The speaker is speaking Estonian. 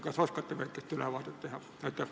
Kas oskate väikese ülevaate anda?